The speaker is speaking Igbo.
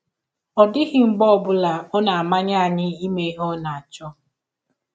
Ọ dịghị mgbe ọ bụla ọ na - amanye anyị ime ihe ọ na - achọ.